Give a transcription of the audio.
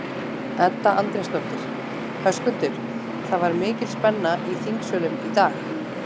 Edda Andrésdóttir: Höskuldur, það var mikil spenna í þingsölum í dag?